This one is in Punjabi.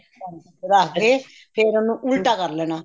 ਤੇ ਕਰਕੇ ਫ਼ੇਰ ਉਹਨੂੰ ਉਲਟਾ ਕਰ ਲੈਣਾ